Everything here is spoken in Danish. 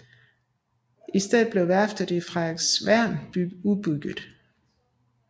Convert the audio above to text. I stedet blev værftet i Frederiksværn udbygget